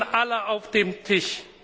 Sie liegen alle auf dem Tisch.